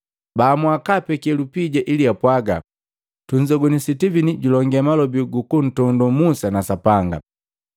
Baamua kapeke lupija ili apwagaa, “Tunzogwini Sitivini julongee malobi gu kuntondoo Musa na Sapanga.”